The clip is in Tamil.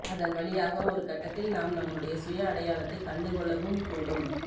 அதன் வழியாக ஒருகட்டத்தில் நாம் நம்முடைய சுய அடையாளத்தைக் கண்டுகொள்ளவும் கூடும்